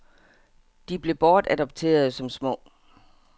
De blev bortadopterede som små.